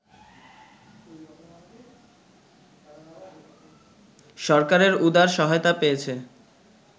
সরকারের উদার সহায়তা পেয়েছে